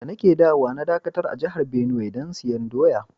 Da na ke dawowa na dakatar a jihar Benue dan siyan doya.